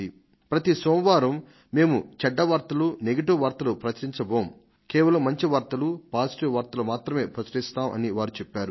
ప్రతి సోమవారం మేము ఎటువంటి చెడ్డ వార్తలను కాకుండా కేవలం మంచి వార్తలను మాత్రమే ఇస్తాం అని నిర్ణయించుకొన్నాం అనేది అందులోని సారాంశం